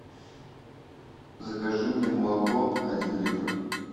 закажи мне молоко один литр